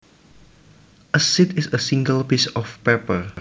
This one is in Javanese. A sheet is a single piece of paper